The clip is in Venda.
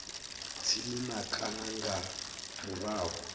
tsini na kana nga murahu